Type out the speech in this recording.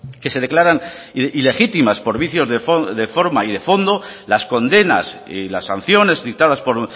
que se declaran ilegítimas por vicios de forma y de fondo las condenas y las sanciones dictadas por